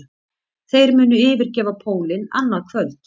Þeir munu yfirgefa pólinn annað kvöld